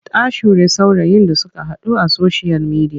Ta sure saurayin da suka haɗu a soshiyal midiya.